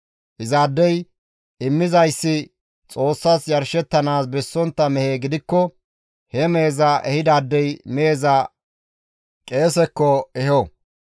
Izaadey immizayssi Xoossas yarshettanaas bessontta mehe gidikko he meheza ehidaadey meheza qeesekko eho.